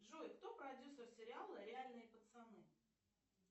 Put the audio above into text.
джой кто продюсер сериала реальные пацаны